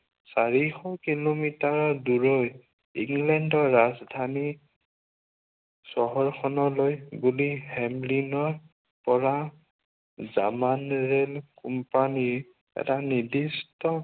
চাৰিশ কিলোমিটাৰৰ দূৰৈত ইংলেণ্ডৰ ৰাজধানী চহৰ খনলৈ বুলি হেমলিনৰ পৰা জামানোৰোল কোম্পানীৰ এটা নিৰ্দিষ্ট